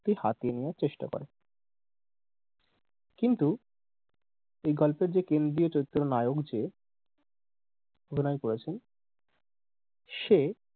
হাতিয়ে নেয়ার চেষ্টা করে কিন্তু এই গল্পের যে কেন্দ্রীয় চরিত্র নায়ক যে অভিনয় করেছেন সে